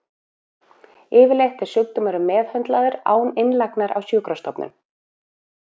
Yfirleitt er sjúkdómurinn meðhöndlaður án innlagnar á sjúkrastofnun.